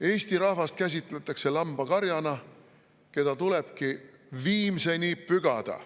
Eesti rahvast käsitletakse lambakarjana, keda tulebki viimseni pügada.